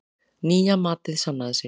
Nýja matið sannaði sig.